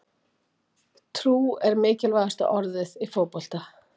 Trú er mikilvægasta orðið í fótbolta.